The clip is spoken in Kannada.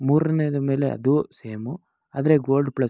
ಮೂರನೇದು ಮೇಲೆ ಅದೂ ಸೇಮ್ ಆದರೆ ಗೋಲ್ಡ್ ಪ್ಲಸ್ .